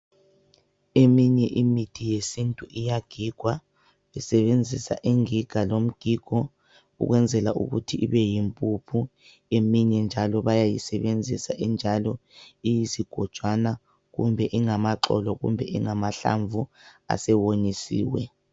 Eminye imithi yesintu iyagigwa, usebenzisa ingiga lomgigo ukwenzela ukuthi ibeyimpuphu, eminye njalo bayayisebenzisa injalo iyizigojwana kumbe ingamaxolo kumbe ingamahlamvu asewonyisiwe.